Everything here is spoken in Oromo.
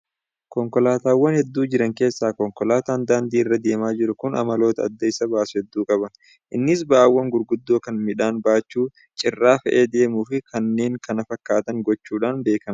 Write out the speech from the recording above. Konkolaataawwan hedduu jiran keessaa konkolaataan daandii irra deemaa jiru kun amaloota adda isa baasu hedduu qaba. Innis ba'aawwan gurguddoo kan midhaan baachuu, cirra fe'ee deemuu fi kanneen kana fakkaatan gochuudhaan beekama.